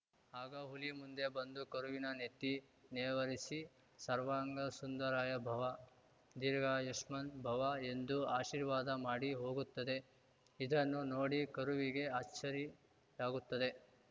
ಆಗ ಹುಲಿ ಮುಂದೆ ಬಂದು ಕರುವಿನ ನೆತ್ತಿ ನೇವರಿಸಿ ಸರ್ವಾಂಗ ಸುಂದರಾಯ ಭವ ದೀರ್ಘಾಯುಷ್ಮಾನ್‌ ಭವ ಎಂದು ಆಶೀರ್ವಾದ ಮಾಡಿ ಹೋಗುತ್ತದೆ ಇದನ್ನು ನೋಡಿ ಕರುವಿಗೆ ಅಚ್ಚರಿಯಾಗುತ್ತದೆ